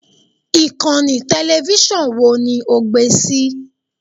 Ìkànnì tẹlẹfísọ̀n wo ni o gbé sí i!